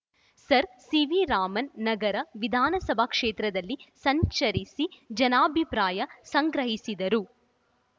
sir CV Raman ನಗರ ವಿಧಾನಸಭಾ ಕ್ಷೇತ್ರದಲ್ಲಿ ಸಂಚರಿಸಿ ಜನಾಭಿಪ್ರಾಯ ಸಂಗ್ರಹಿಸಿದರು